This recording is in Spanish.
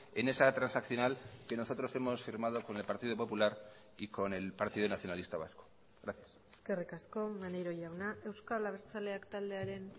en esa transaccional que nosotros hemos firmado con el partido popular y con el partido nacionalista vasco gracias eskerrik asko maneiro jauna euskal abertzaleak taldearen